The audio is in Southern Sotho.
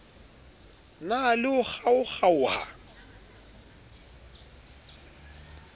na le ho kgaokg aoha